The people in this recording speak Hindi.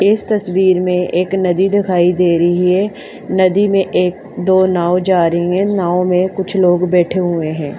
इस तस्वीर में एक नदी दिखाई दे रही है नदी में एक दो नाव जा रही हैं नाव में कुछ लोग बैठे हुए हैं।